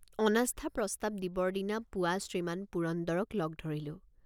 অনাস্থা প্ৰস্তাৱ দিবৰ দিনা পুৱা শ্ৰীমান পুৰন্দৰক লগ ধৰিলোঁ।